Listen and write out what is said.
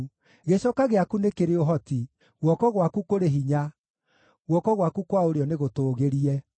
Gĩcoka gĩaku nĩ kĩrĩ ũhoti; guoko gwaku kũrĩ hinya, guoko gwaku kwa ũrĩo nĩgũtũgĩrie.